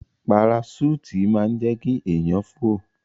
Paraṣúùtì máa ń jẹ́ kí èèyàn fò